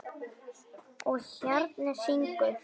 Og hjarnið syngur.